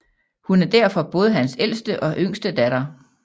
Hun er derfor både hans ældste og yngste datter